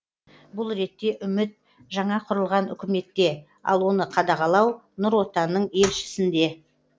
бұл ретте үміт жаңа құрылған үкіметте ал оны қадағалау нұр отанның елшісінде